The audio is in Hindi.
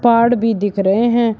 पहाड़ भी दिख रहे हैं।